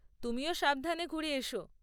তুমিও সাবধানে ঘুরে এসো।